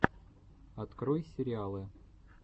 открой сериалы